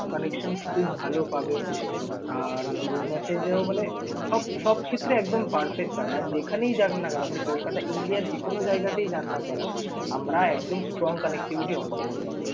connection খুব ভাল পাবেন। আর ধরুন message এও মানে সব সব ক্ষেত্রে একদম perfect পাবেন। আর যেখানেই যান না কেন আপনি কলকাতা india র যেকোনো জায়গাতেই যান না কেন আমরা একদম strong connectivity offer করব আপনাকে।